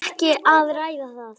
Ekki að ræða það.